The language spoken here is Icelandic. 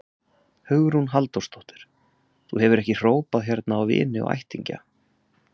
Hugrún Halldórsdóttir: Þú hefur ekki hrópað hérna á vini og ættingja?